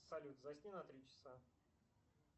салют засни на три часа